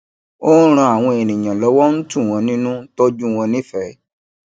ó ń ràn àwọn ènìyàn lówó ń tu wọn nínú ń tójú wọn nífẹẹ